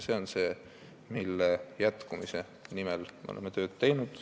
See on see, mille jätkumise nimel me oleme tööd teinud.